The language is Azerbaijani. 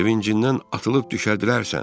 Sevincindən atılıb düşərdilərsən.